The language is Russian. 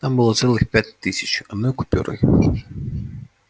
там было целых пять тысяч одной купюрой